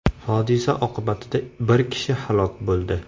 Hodisa oqibatida bir kishi halok bo‘ldi.